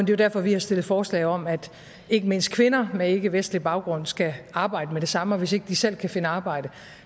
jo derfor vi har stillet forslag om at ikke mindst kvinder med ikkevestlig baggrund skal arbejde med det samme og hvis ikke de selv kan finde arbejde